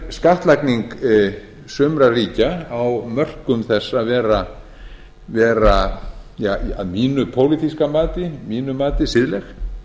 skattlagning sumra ríkja á mörkum þess að vera að mínu pólitíska mati siðlegt